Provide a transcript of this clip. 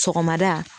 Sɔgɔmada